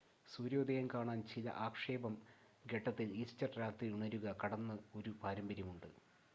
സൂര്യോദയം കാണാൻ ചില ആക്ഷേപം ഘട്ടത്തിൽ ഈസ്റ്റർ രാത്രി ഉണരുക കടന്നു ഒരു പാരമ്പര്യം ഉണ്ട്